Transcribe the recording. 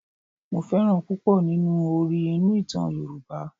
Mo fẹ́ràn púpọ̀ nínú orí inú ìtàn Yorùbá.